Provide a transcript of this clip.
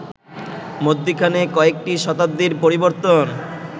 মধ্যিখানে কয়েকটি শতাব্দীর পরিবর্তন